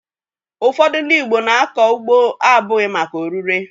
Ụfọdụ ndị Igbo na-akọ ugbo abụghị maka oririe